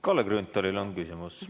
Kalle Grünthalil on küsimus.